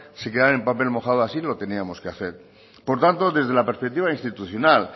se quedaran en papel mojado así lo teníamos que hacer por tanto desde la perspectiva institucional